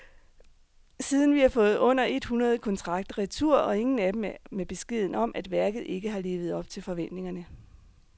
Siden har vi fået under et hundrede kontrakter retur, og ingen af dem er med beskeden om, at værket ikke har levet op til forventningerne.